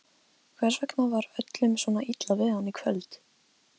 Hvers vegna var öllum svona illa við hann í kvöld?